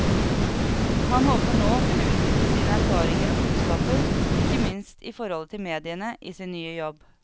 Han håper nå å kunne utnytte sine erfaringer og kunnskaper, ikke minst i forholdet til mediene, i sin nye jobb.